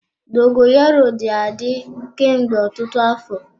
Dogoyaro dị adị kemgbe ọtụtụ afọ.